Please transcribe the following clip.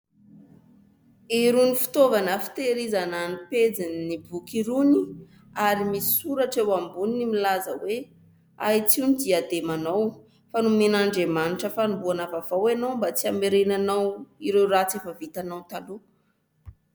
Irony fitaovana fitehirizana ny pejin'ny boky irony ary misy soratra eo amboniny milaza hoe : ahitsio ny diademanao fa nomen' Andriamanitra fanombohana vaovao ianao mba tsy hamerenanao ireo ratsy efa vitanao taloha.